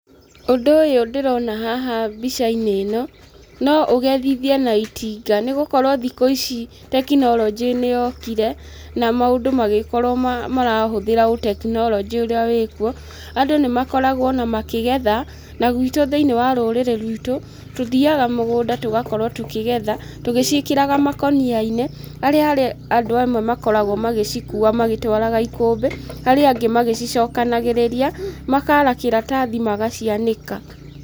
Ũndũ ũyũ ndĩrona haha mbicainĩ ĩno no ũgethithie na itinga nĩgũkorwo thikũ ici tekinoronjĩ nĩyokire na maũndũ magĩkorwo marahũthĩra ũtekinoronjĩ ũrĩa wĩkuo. Andũ nĩmakoragwo ona makĩgetha na gwitũ thĩinĩ wa rũrĩrĩ rwitũ tũthiyaga mũgũnda tũgakorwo tũkĩgetha tũgĩciĩkĩraga makũniainĩ, harĩa harĩ andũ amwe makoragwo magĩcikua magĩcitwaraga ikũmbĩ, arĩa angĩ magĩcicokanagĩrĩria makara kĩratathi magacianĩka.